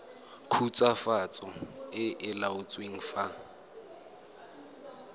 khutswafatso e e laotsweng fa